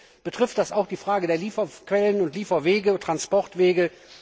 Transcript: Übrigens betrifft das auch die Frage der Lieferquellen und Transportwege.